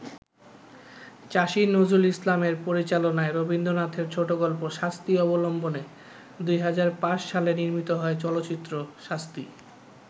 চাষী নজরুল ইসলামের পরিচালনায় রবীন্দ্রনাথের ছোটগল্প ‘শাস্তি’ অবলম্বনে ২০০৫ সালে নির্মিত হয় চলচ্চিত্র ‘শাস্তি’।